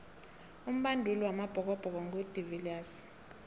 umbanduli wamabhokobhoko ngu de viliers